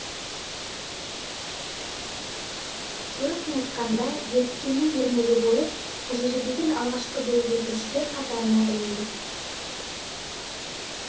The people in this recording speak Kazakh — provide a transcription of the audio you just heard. турасын айтқанда еріккеннің ермегі болып тәжірибеден алғашқы болып өтушілер қатарына іліндік